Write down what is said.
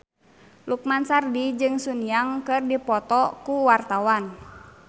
Lukman Sardi jeung Sun Yang keur dipoto ku wartawan